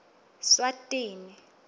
swatini